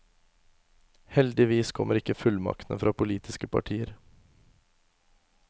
Heldigvis kommer ikke fullmaktene fra politiske partier.